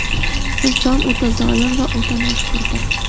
inson o‘ta zolim va o‘ta noshukrdir.